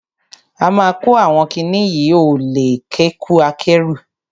A ma kó àwọn kiní yìí oẹ̀lú kẹ̀kẹ́ akẹ́rù.